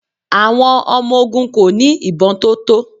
Àwọn ọmọ ogun kò ní ìbọn tó tó.